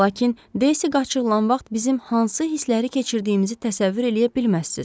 Lakin Daisy qaçırılan vaxt bizim hansı hissləri keçirdiyimizi təsəvvür eləyə bilməzsiniz.